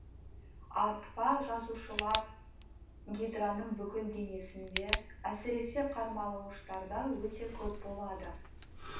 атпа жасушалар гидраның бүкіл денесінде әсіресе қармалауыштарда өте көп болады